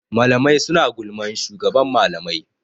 Mlamai suna gulman shugaban malamai.